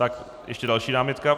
Tak ještě další námitka.